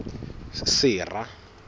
sera